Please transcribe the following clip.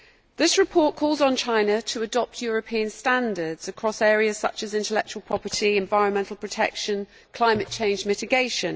This report calls on China to adopt European standards across areas such as intellectual property, environmental protection and climate change mitigation.